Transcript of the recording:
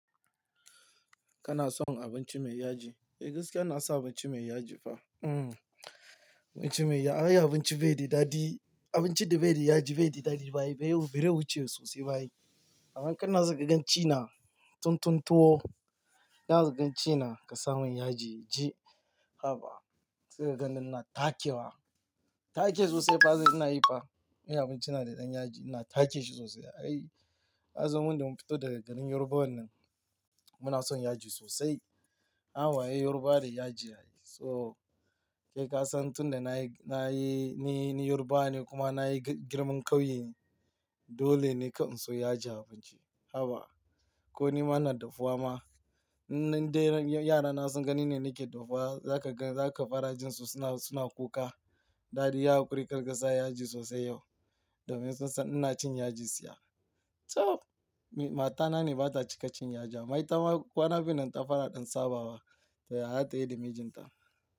Kana son abinci mai yaji? Eh gaskiya na sa abinci mai yaji fa. Hmm abinci mai yaji, ai abinci bai da dadi, abinci da bai da yaji bai da dadi ba ai, bai yi bere wuce sosai ba ai. Amma in kana so kaganci na tun tun tuwo, zaka ganci na ka sa mun yaji ji, haka. Sai kaganni ina take wa, take sosai fa sai ina yi fa. In yi abinci na da ɗan yaji ina take shi sosai. Ai, azumin da mun fito daga garin Yoruba wannan muna son yaji sosai. Amma ai Yoruba da yaji ai. So, ke ka san tun da na yi, na yi, ni Yoruba ne kuma na yi girman ƙauye ne dole ne ka anso yaji a abinci, haka. Ko nima na dafuwa ma, inda yara na sun gani ne nake dafuwa za ka gan, za ka fa rajin su suna, suna kuka. Dadi ya haƙuri karkasa yaji sosai yau domin sun san ina cin yaji siya. To! Matana ne ba ta cika cin yaji a ma'ai ta ma, kuwa na fi nan ta fara ɗan sabawa ta ya za ta yi da mijinta.